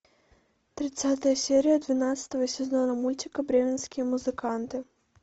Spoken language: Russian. тридцатая серия двенадцатого сезона мультика бременские музыканты